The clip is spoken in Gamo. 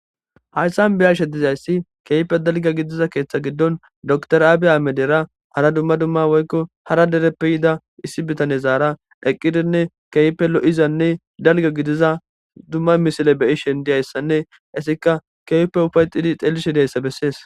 Haysan be'ashshe dizaysi keehippe dalga gidiza keththaza gidon doctor Abbiy Ahmedera hara duma duma woyko hara dereppe yida issi bitanezara eqqidinne keehippe lo'izanne dalga gidiza duma misle be'ishshen diyaysane izzika kehipe ufayettid xelizaysa beeses